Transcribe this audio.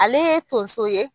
Ale ye tonso